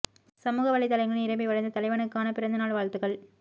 சமூக வலைதளங்களில் நிரம்பி வழிந்த தலைவனுக்கான பிறந்த நாள் வாழ்த்துகள்